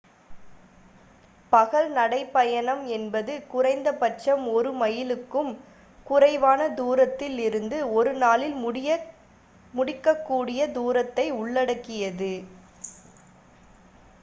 பகல் நடைபயணம் என்பது குறைந்த பட்சம் ஒரு மைலுக்கும் குறைவான தூரத்தில் இருந்து ஒரு நாளில் முடிக்கக்கூடிய தூரத்தை உள்ளடக்கியது